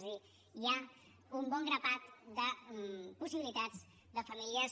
és a dir hi ha un bon grapat de possibilitats de famílies